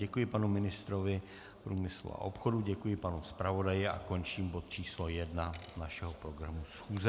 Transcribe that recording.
Děkuji panu ministrovi průmyslu a obchodu, děkuji panu zpravodaji a končím bod číslo 1 našeho programu schůze.